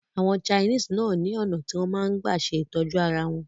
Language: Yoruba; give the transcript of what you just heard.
Àwọn Chinese náà ni ọ̀nà tí wọn máa ń gbà ṣe ìtọ́jú arawọn